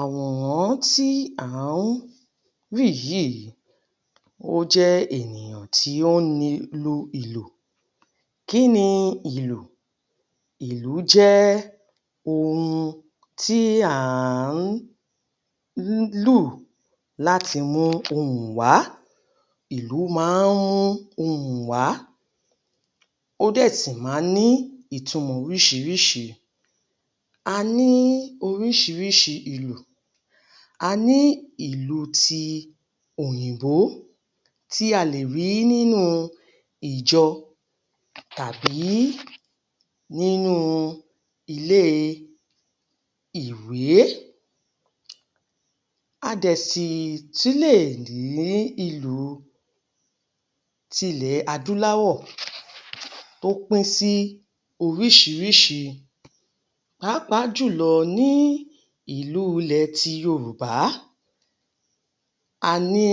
Àwòrán tí à ń rí yìí, ó jẹ́ ènìyàn tí ó ń ni, lu ìlù. Kí ni ìlú? Ìlú jẹ́ ohun tí à ń lù láti mú ohùn wá. Ìlù máa ń mú ohùn wá; ó dẹ̀ sì máa ń ní ìtumọ̀ oríṣiríṣi. A ní oríṣiríṣi ìlù. A ní ìlú ti òyìnbó, tí a lè rí nínú ìjọ tàbí nínú ilée-ìwé. A dẹ̀ sì tún lè rí ìlù tilẹ̀ adúláwọ̀ tó pín sí oríṣiríṣi. Pàápàá jùlọ ní ìlú ilẹ̀ ti Yorùbá, a ní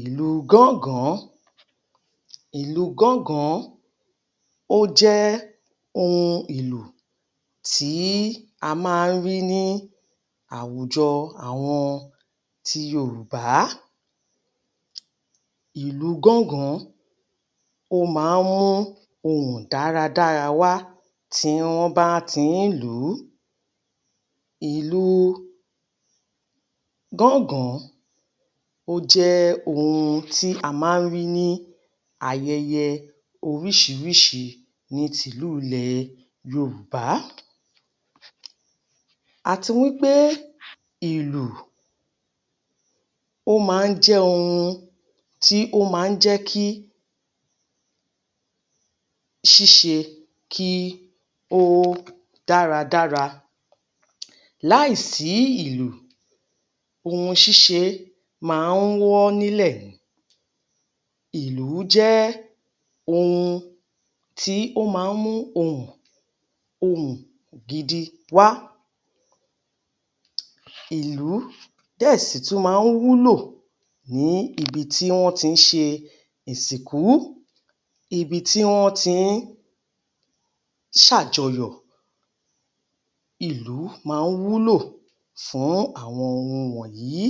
ìlú gángàn-án. Ìlú gángàn-án, ó jẹ́ ohun ìlù tí a máa ń rí ní àwùjọ àwọn ti Yorùbá. Ìlú gángàn-án, ó máa ń mú ohùn dáradára wá tí wọ́n bá ti ń lù ú. Ìlú gángàn-án, ó jẹ́ ohun tí a máa ń rí ní ayẹyẹ oríṣiríṣi ní tìlú ilẹ̀ Yorùbá. Àti wí pé ìlù, ó máa ń jẹ́ ohun tí ó máa ń jẹ́ kí ṣíṣe kí ó dáradára. Láìsí ìlù ohun ṣíṣe máa ń wọ́ nílẹ̀. Ìlù jẹ́ ohun tó máa ń mú ohùn, ohùn gidi wá. Ìlú dẹ̀ sì tún wúlò níbi tí wọ́n ti ń ṣe ìsìnkú, ibi tí wọ́n ti ń ṣàjọyọ̀ ìlù máa ń wúlò fún àwọn ohun wọ̀nyìí.